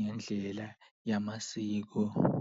ngendlela yamasiko.